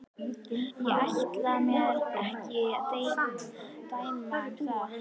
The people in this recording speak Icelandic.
Ég ætla mér ekki að dæma um það.